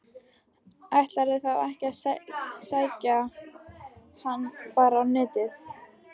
Ætlarðu þá ekki að sækja hana bara á Netið?